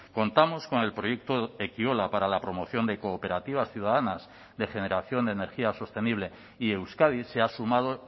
contamos con el proyecto ekiola para la promoción de cooperativas ciudadanas de generación de energía sostenible y euskadi se ha sumado